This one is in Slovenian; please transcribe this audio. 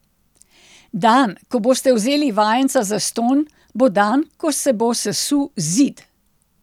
Dan, ko boste vzeli vajenca zastonj, bo dan, ko se bo sesul Zid.